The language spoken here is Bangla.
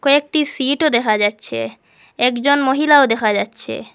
একটি সিটও দেখা যাচ্ছে একজন মহিলাও দেখা যাচ্ছে।